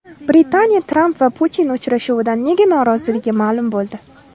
Britaniya Tramp va Putin uchrashuvidan nega noroziligi ma’lum bo‘ldi.